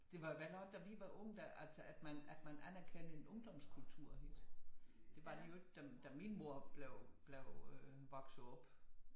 Det var vel nogle da vi var unge altså at man anerkendte en ungdomskultur det var der jo ikke da min mor blev blev voksede op